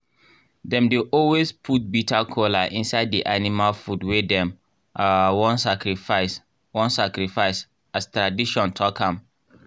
dem dey always put bitter kola inside di animal food wey dem um wan sacrifice wan sacrifice as tradition talk am